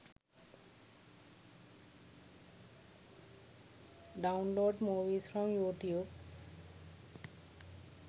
download movies from youtube